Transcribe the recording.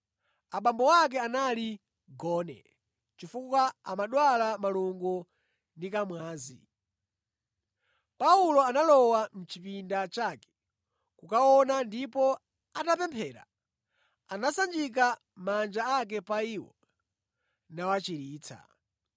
Abambo ake anali gone, chifukwa amadwala malungo ndi kamwazi. Paulo analowa mʼchipinda chake kukawaona, ndipo atapemphera, anasanjika manja ake pa iwo nawachiritsa.